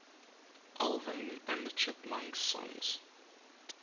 alvin and the chipmunks songs